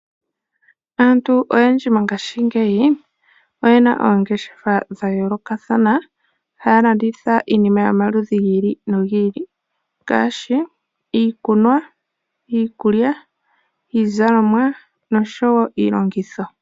Aantu oyendji mongashingeyi oyena oongeshefa dha yoolokathana haalanditha iinima yomaludhi giili nogiili ngaashi iikunwa, iikulya, iizalomwa noshowo iilongitho.